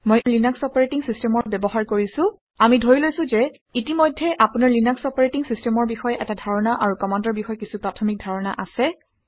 মই Linux operating system ব্যৱহাৰ কৰিছোঁ। আমি ধৰি লৈছোঁ যে ইতিমধ্যে আপোনাৰ লিনাক্স অপাৰেটিং চিছটেমৰ বিষয়ে এটা ধাৰণা আৰু কামাণ্ডৰ বিষয়ে কিছু প্ৰাথমিক ধাৰণা আছে